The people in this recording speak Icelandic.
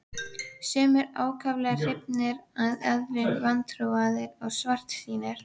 Sumir ákaflega hrifnir en aðrir vantrúaðir og svartsýnir.